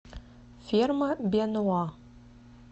ферма бенуа